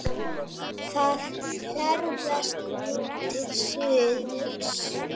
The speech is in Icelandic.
Það ferðast nú til suðurs.